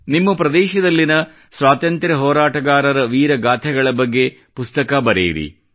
ನಿಮ್ಮ ಪ್ರದೇಶದಲ್ಲಿನ ಸ್ವಾತಂತ್ರ್ಯ ಹೋರಾಟಗಾರರ ವೀರಗಾಥೆಗಳ ಬಗ್ಗೆ ಪುಸ್ತಕ ಬರೆಯಿರಿ